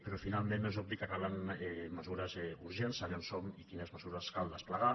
però finalment és obvi que calen mesures urgents saber on som i quines mesures cal desplegar